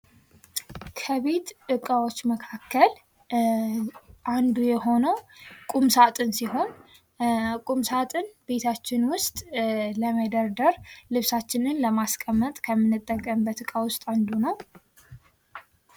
"ከቤት እቃዎች መካከል አንዱ የሆነዉ ቁምሳጥን ሲሆን፤ ቁምሳጥን ቤታችን ዉሰጥ ለመደርደር፤ ልብሳችንን ለማሲቀመጥ ከምንጠቀምበት እቃዎች አንዱ ነው።"